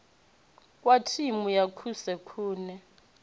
wa thimu ya kusi kune